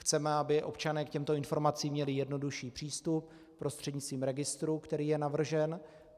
Chceme, aby občané k těmto informacím měli jednodušší přístup prostřednictvím registru, který je navržen.